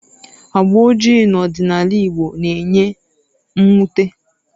Agba ojii n'ọdịnala Igbo na-enye mwute